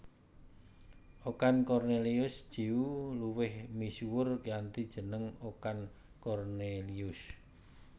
Okan Kornelius Tjeuw luwih misuwur kanthi jeneng Okan Cornelius